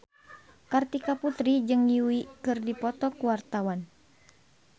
Kartika Putri jeung Yui keur dipoto ku wartawan